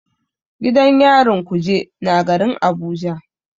Gidan yarin kuje na garin Abuja.